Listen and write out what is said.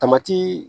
Tamati